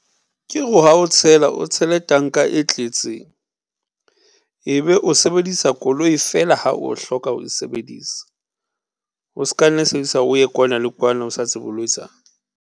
Ke ha o tshela, o tshele tanka e tletseng, ebe o sebedisa koloi fela ha o hloka ho e sebedisa. O s'ka nne sebedisa o ye kwana le kwana o sa tsebe o lo etsang.